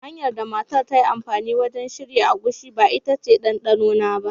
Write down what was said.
Hanyar da matar ta yi amfani wajen shirya agushi ba ita ce ɗanɗanona ba.